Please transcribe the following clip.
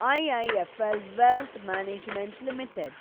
IIFL wealth management limited